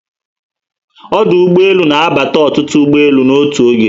Ọdụ ụgbọelu na abata ọtụtụ ụgbọelu n'otu oge